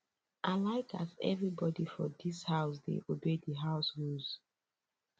i like as everybodi for dis house dey obey di house rules